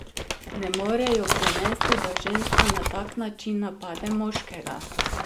Ne morejo prenesti, da ženska na tak način napada moškega!